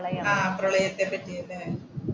പ്രളയത്തെ പറ്റിയല്ലേ?